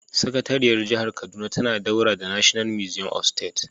Sakatariyar jihar kaduna tana daura da The National Museum of State